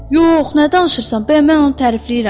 Yox, nə danışırsan, bəyəm mən onu tərifləyirəm?